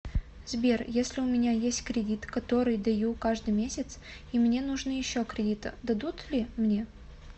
сбер если у меня есть кредит который даю каждый месяц и мне нужно еще кредита дадут ли мне